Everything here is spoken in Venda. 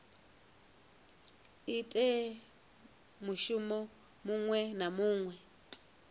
ite mushumo muṅwe na muṅwe